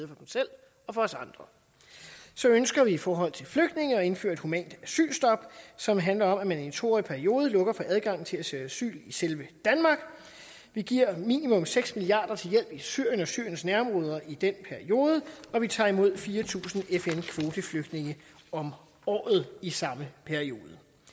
dem selv og for os andre så ønsker vi i forhold til flygtninge at indføre et humant asylstop som handler om at man i en to årig periode lukker for adgangen til at søge asyl i selve danmark vi giver minimum seks milliard kroner til hjælp i syrien og syriens nærområder i den periode og vi tager imod fire tusind fn kvoteflygtninge om året i samme periode